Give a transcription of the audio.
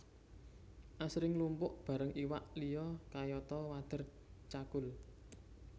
Asring mlumpuk bareng iwak liya kayata Wader cakul